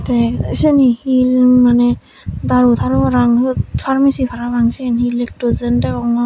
te seni hi mane daru taru parapang siyot parmesi parapang siyen hi lictozen degongor.